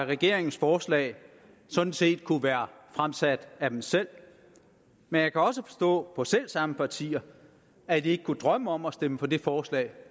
regeringens forslag sådan set kunne være fremsat af dem selv men jeg kan også forstå på selv samme partier at de ikke kunne drømme om at stemme for det forslag